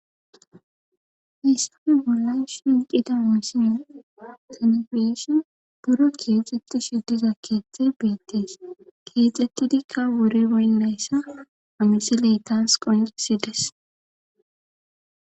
Hisssafe bollay shinqida misina senefeeshe buro keexxettu shiddiza keeththe beettees keexxettidikka wuri boynleyssa amisiley taas qoysides.